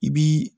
I bii